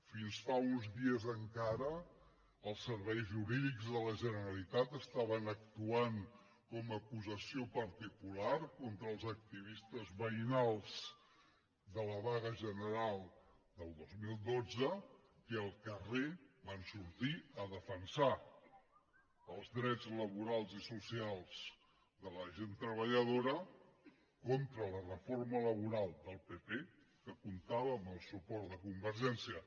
fins fa uns dies encara els serveis jurídics de la generalitat estaven actuant com a acusació particular contra els activistes veïnals de la vaga general del dos mil dotze que al carrer van sortir a defensar els drets laborals i socials de la gent treballadora contra la reforma laboral del pp que comptava amb el suport de convergència